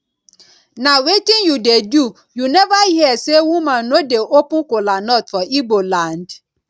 na wetin you dey do you never hear say women no dey open kola nut for igbo land